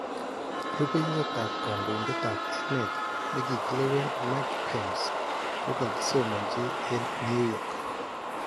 Rubeiywotab kandoindetab emeet nekikileween Mike Pence kokakisomanchi en New York